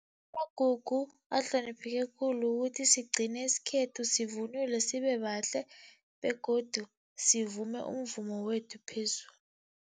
Amagugu ahlonipheke khulu ukuthi sigcine isikhethu, sivunule sibe bahle begodu sivume umvumo wethu